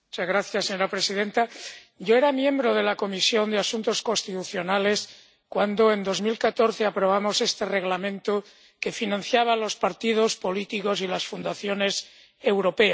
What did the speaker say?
Señora presidenta, yo era miembro de la Comisión de Asuntos Constitucionales cuando en 2014 aprobamos este Reglamento que regulaba la financiación de los partidos políticos y las fundaciones europeas.